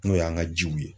N'o y'an ka jiw ye